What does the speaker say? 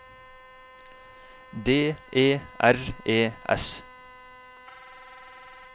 D E R E S